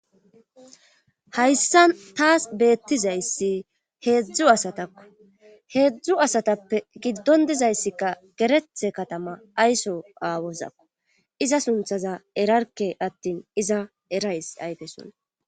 Hayssa taas beettizayssi heedzdzu asatakko heedzdzu asatappe giddon dizayssikka gerethe katama ayso aawozakko iza sunthaza erarke attin iza erays ayfe sona.